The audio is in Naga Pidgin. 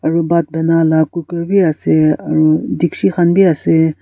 aru bhat bona laga cookers ase aru dikchi khan bhi ase.